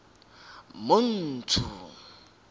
montsho